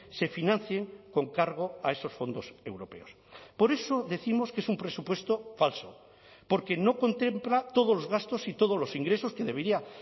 se financien con cargo a esos fondos europeos por eso décimos que es un presupuesto falso porque no contempla todos los gastos y todos los ingresos que debería